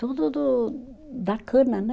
Tudo do da cana, né?